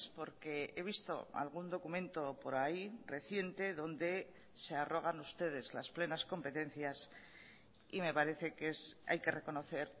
porque he visto algún documento por ahí reciente donde se arrogan ustedes las plenas competencias y me parece que hay que reconocer